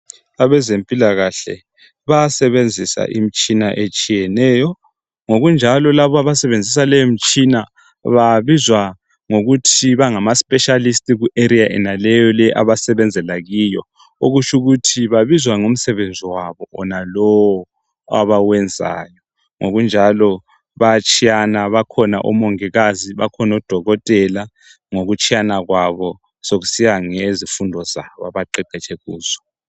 Abezempilakahle bayasebenzisa imitshina etshiyeneyo ngokunjalo laba abasebenzisa leyo mitshina babizwa ngokuthi bangamaspeacilist kuarea yenaleyo abasebenzela kiyo okutsho ukuthi babizwa ngomsebenzi wabo wonalowo abawenzayo ngokunjalo bayatshiyana bakhona omongikazi bakhona odokotela ngokutshiyana kwabo sokusiya ngezifundo zabo abaqeqetshe kuzo.